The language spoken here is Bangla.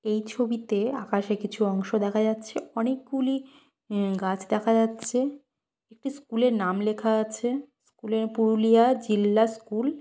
এই ছবিতে আকাশে কিছু অংশ দেখা যাচ্ছে অনেকগুলি অ্যাঁ গাছ দেখা যাচ্ছে একটি স্কুল -এর নাম লেখা আছে স্কুল -এ পুরুলিয়া জিল্লা স্কুল ।